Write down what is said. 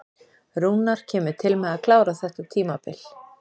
Rúnar kemur til með að klára þetta tímabil.